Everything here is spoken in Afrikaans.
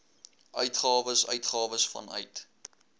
uitgawes uitgawes vanuit